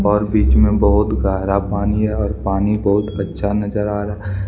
और बिच में बहुत गहरा पानी है और पानी बहुत अच्छा नजर आ रहा--